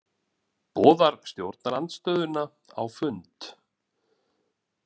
Boðar stjórnarandstöðuna á fund